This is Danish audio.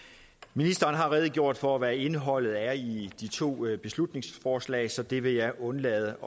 ministeren har redegjort for hvad indholdet af de to beslutningsforslag er så det vil jeg undlade